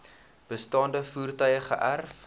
bestaande voertuie geërf